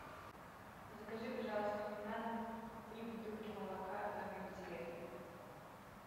закажи пожалуйста мне на дом три бутылки молока домик в деревне